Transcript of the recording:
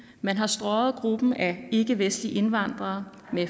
man har strøget gruppen af ikkevestlige indvandrere med